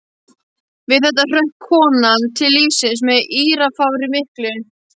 Við þetta hrökk konan til lífsins og með írafári miklu.